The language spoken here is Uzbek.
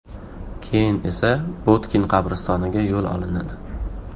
Keyin esa Botkin qabristoniga yo‘l olinadi.